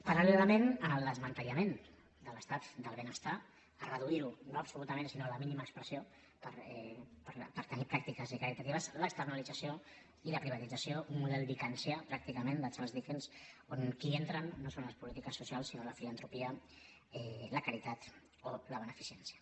paral·lelament al desmantellament de l’estat del benestar a reduir lo no absolutament sinó a la mínima expressió per tenir pràctiques caritatives l’externalització i la privatització un model dickensià pràcticament de charles dickens on qui entren no són les polítiques socials sinó la filantropia la caritat o la beneficència